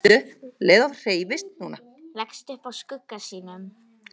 Leggst upp að skugga sínum.